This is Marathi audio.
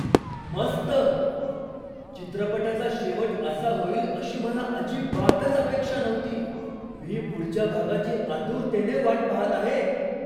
मस्त! चित्रपटाचा शेवट असा होईल अशी मला अजिबातच अपेक्षा नव्हती. मी पुढच्या भागाची आतुरतेने वाट पाहत आहे.